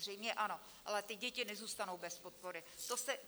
Zřejmě ano, ale ty děti nezůstanou bez podpory.